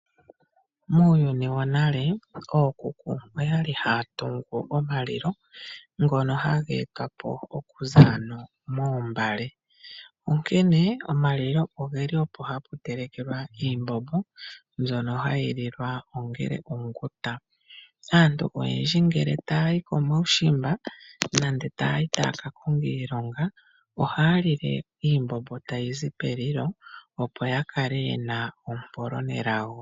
Muuyuni wonale ookuku oya li haya tungu omalilo ngono haga etwa po okuza moombale, onkene omalilo oge li opo hapu telekelwa iimbombo mbyono hayi liwa ongele onga onguta. Aantu oyendji ngele taya yi komaushimba nenge taya yi taya ka konga omailonga ohaya lile iimbombo tayi zi pomalilo, opo ya kale ye na ompolo nelago.